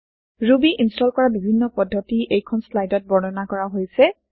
Ruby install কৰা বিভিন্ন পদ্ধতি এইখন চ্লাইদত বৰ্ণনা কৰা হৈছে